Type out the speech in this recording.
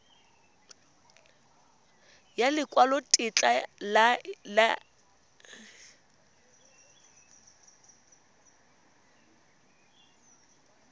ya lekwalotetla laesense ya go